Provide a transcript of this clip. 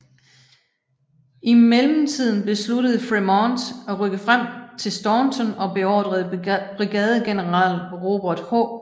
I mellemtiden besluttede Frémont at rykke frem til til Staunton og beordrede brigadegeneral Robert H